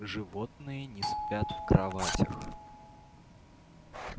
животные не спят в кроватях